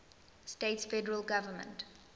states federal government